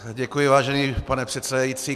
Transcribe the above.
Děkuji, vážený pane předsedající.